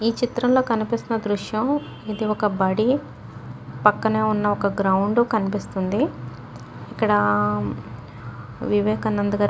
ఈ చిత్రంలో కనిపిస్తున్న దృశ్యం ఇది ఒక్క బడి. పక్కనే ఉన్న ఒక్క గ్రౌండ్ కనిపిస్తుంది. ఇక్కడా వివేకానంద గారి --